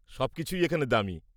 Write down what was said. সবকিছুই এখানে দামি।